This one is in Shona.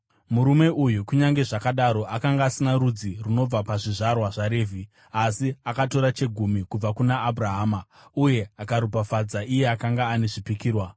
Murume uyu, kunyange zvakadaro, akanga asina rudzi runobva pazvizvarwa zvaRevhi, asi akatora chegumi kubva kuna Abhurahama uye akaropafadza iye akanga ane zvipikirwa.